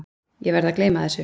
Ég verð að gleyma þessu.